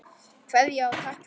Kveðja og takk fyrir allt.